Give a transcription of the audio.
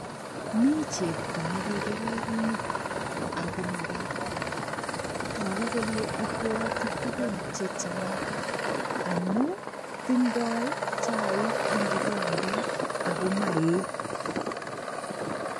Mi chepto ni kikerer met ako mabaibai, toku kole ibwoti tugun chechang amu tindoi chaik eng kikombet ako maee.